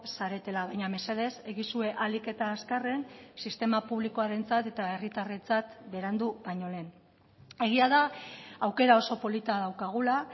zaretela baina mesedez egizue ahalik eta azkarren sistema publikoarentzat eta herritarrentzat berandu baino lehen egia da aukera oso polita daukagula